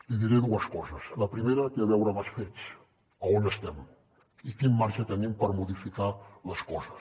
li diré dues coses la primera té a veure amb els fets a on estem i quin marge tenim per modificar les coses